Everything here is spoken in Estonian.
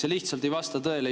See lihtsalt ei vasta tõele.